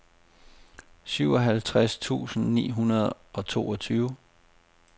syvoghalvtreds tusind ni hundrede og toogtyve